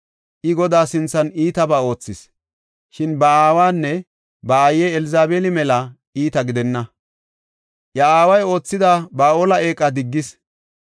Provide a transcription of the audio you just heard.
I, Godaa sinthan iitabaa oothis. Shin ba aawanne ba aaye Elzabeeli mela iita gidenna; iya aaway oothida Ba7aale eeqa diggis.